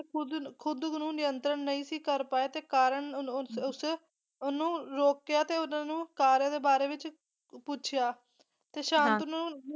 ਖੁਦ ਨੂੰ ਖੁਦ ਨੂੰ ਨਿਰੰਤਰ ਨਹੀਂ ਸੀ ਕਰ ਪਾਏ ਤੇ ਕਾਰਨ ਉ ਉਸ ਉਹਨੂੰ ਰੋਕਿਆ ਤੇ ਓਦੋ ਨੂੰ ਕਾਰਜ ਬਾਰੇ ਵਿੱਚ ਪੁੱਛਿਆ ਤੇ ਸ਼ਾਂਤਨੂ